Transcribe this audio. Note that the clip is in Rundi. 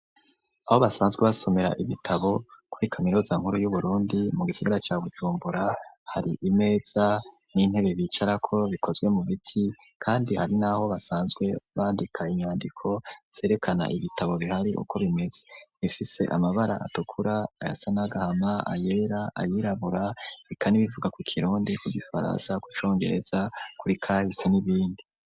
Aho basanzwe basomera ibitabo kuri kaminuza nkuru y'uburundi mu gisigara ca Bujumbura hari imeza n'intebe bicarako bikozwe mu biti kandi hari n'aho basanzwe bandika inyandiko zerekana ibitabo bihari uko bimeze bifise amabara atukura ayasa n'agahama ,ayera , ayirabura eka nibivuga mu kirundi, mu gifaransa, mu congereza kuri kahise n'ibindi.